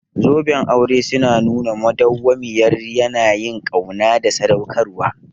Zoben aure suna nuna madawwamiyar yanayin ƙauna da sadaukarwa.